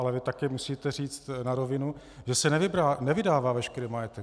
Ale vy také musíte říct na rovinu, že se nevydává veškerý majetek.